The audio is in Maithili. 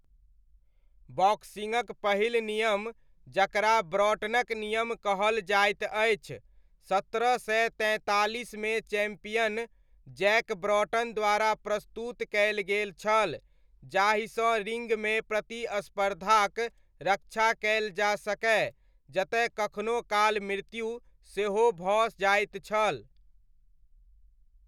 बॉक्सिङ्गक पहिल नियम जकरा ब्रॉटनक नियम कहल जाइत अछि सत्रह सय तैंतालीसमे चैम्पियन जैक ब्रॉटन द्वारा प्रस्तुत कयल गेल छल जाहिसँ रिङ्गमे प्रतिस्पर्धाक रक्षा कयल जा सकय जतय कखनो काल मृत्यु सेहो भऽ जाइत छल।